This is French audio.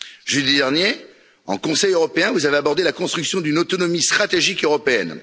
Jeudi dernier en Conseil européen, vous avez abordé la construction d'une autonomie stratégique européenne.